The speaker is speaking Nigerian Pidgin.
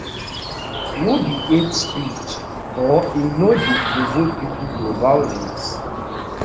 no be hate speech or e no dey provoke pipo to violence